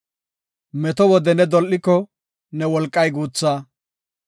Meto wode ne dol7iko, ne wolqay guutha.